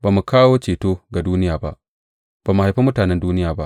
Ba mu kawo ceto ga duniya ba; ba mu haifi mutanen duniya ba.